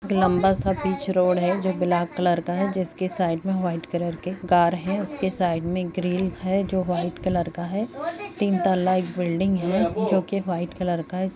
लम्बाई सा बीच रोड है जो ब्लाक कलर का है जिसके साइक में वाइट कलर के कार है उसके साइक में ग्रिल है जो वाइ कलर का है तीन टाला इक बिल्डिंग है जो के वाइट कलर का है।